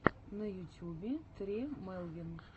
на ютюбе тре мелвин